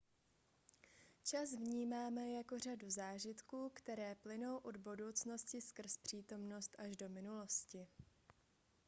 čas vnímáme jako řadu zážitků které plynou od budoucnosti skrz přítomnost až do minulosti